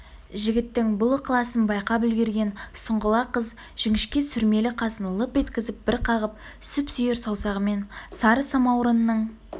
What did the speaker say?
жігіттің бұл ықыласын байқап үлгірген сұңғыла қыз жіңішке сүрмелі қасын лып еткізіп бір қағып сүп-сүйір саусағымен сары самаурынның